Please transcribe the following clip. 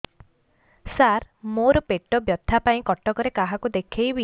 ସାର ମୋ ର ପେଟ ବ୍ୟଥା ପାଇଁ କଟକରେ କାହାକୁ ଦେଖେଇବି